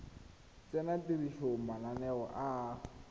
tsenya tirisong mananeo a a